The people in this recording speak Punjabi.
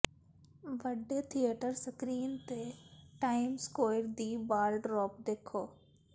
ਵੱਡੇ ਥੀਏਟਰ ਸਕ੍ਰੀਨ ਤੇ ਟਾਈਮਜ਼ ਸਕੌਇਰ ਦੀ ਬਾਲ ਡ੍ਰੌਪ ਦੇਖੋ